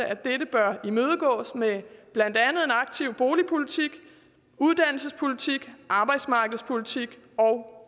at dette bør imødegås med blandt andet en aktiv boligpolitik uddannelsespolitik arbejdsmarkedspolitik og